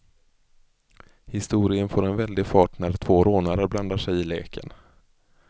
Historien får en väldig fart när två rånare blandar sig i leken.